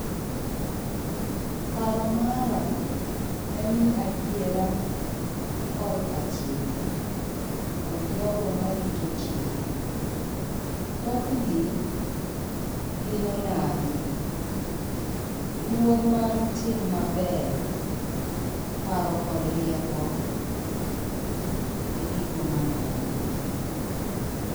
Paro mara en ni adiera korka chike kod jogo marito chike. Thothgi, gin onagi, luor mar tim maber ,paro kod rieko ,e gigo maneno.